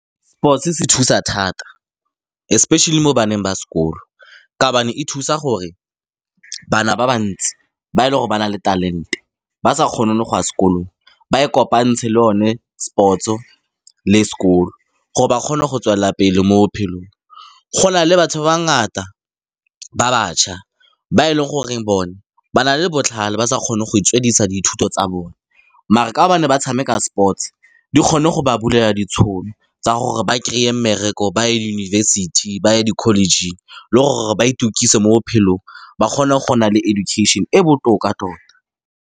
Sports-e se thusa thata, especially mo baneng ba sekolo, ka gobane e thusa gore bana ba ba ntsi, ba e leng gore ba na le talent-e, ba sa kgone le go ya sekolong, ba e kopantshe le yone sports-o le sekolo, gore ba kgone go tswelela pele mo bophelong. Go na le batho ba ba ngata, ba batjha ba e leng gore bone ba na le botlhale, ba sa kgone go itswedisa dithuto tsa bone, mare ka gobane ba tshameka sports-e, di kgonne go ba bulela ditšhono tsa gore ba kry-e mmereko, ba ye yunibesithi, ba ye di-college-ng, le gore ba itukise mo bophelong, ba kgone go nna le education-e e botoka tota.